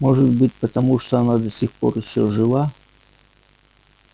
может быть потому она до сих пор ещё жива